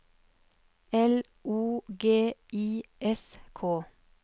L O G I S K